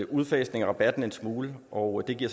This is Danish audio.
udfasningen af rabatten en smule og det giver